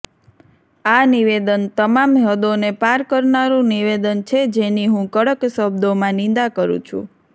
આ નિવેદન તમામ હદોને પાર કરનારું નિવેદન છે જેની હું કડક શબ્દોમાં નિંદા કરું છું